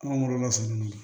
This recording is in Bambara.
Kungolo lasunun